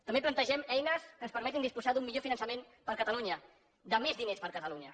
també plantegem eines que ens permetin disposar d’un millor finançament per a catalunya de més diners per a catalunya